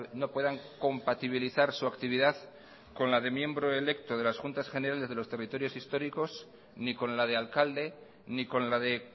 no puedan compatibilizar su actividad con la de miembro electo de las juntas generales de los territorios históricos ni con la de alcalde ni con la de